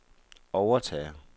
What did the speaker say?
overtager